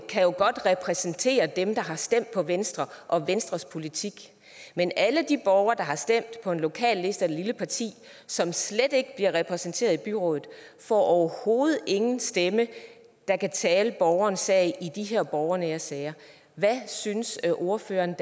kan jo godt repræsentere dem der har stemt på venstre og venstres politik men alle de borgere der har stemt på en lokalliste eller et lille parti som slet ikke bliver repræsenteret i byrådet får overhovedet ingen stemme der kan tale borgerens sag i de her borgernære sager hvad synes ordføreren